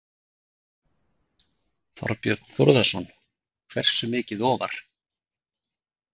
Þorbjörn Þórðarson: Hversu mikið ofar?